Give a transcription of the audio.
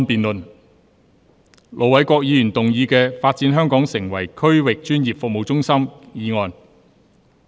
盧偉國議員動議的"發展香港成為區域專業服務中心"議案。